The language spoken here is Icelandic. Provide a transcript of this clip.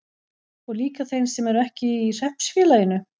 Og líka þeir sem ekki eru í hreppsfélaginu?